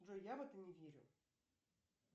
джой я в это не верю